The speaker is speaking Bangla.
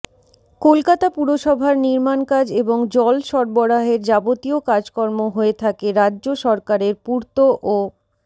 কলকাতা পুরসভার নির্মাণকাজ এবং জল সরবরাহের যাবতীয় কাজকর্ম হয়ে থাকে রাজ্য সরকারের পূর্ত ও